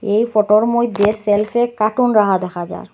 এই ফটোর মইধ্যে শেলফে কার্টুন রাখা দেখা যার।